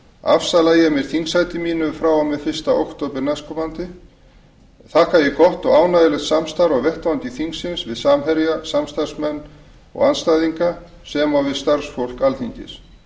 afsala ég mér þingsæti mínu frá og með fyrsta október næstkomandi þakka ég gott og ánægjulegt samstarf á vettvangi þingsins við samherja samstarfsmenn og andstæðinga sem og við starfsfólk alþingis